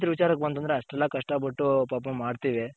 ರೈತರ ವಿಚಾರಕ್ ಬಂತು ಅಂದ್ರೆ ಅಷ್ಟೆಲ್ಲ ಕಷ್ಟ ಪಟ್ಟು ಪಾಪ ಮಾಡ್ತಿವಿ.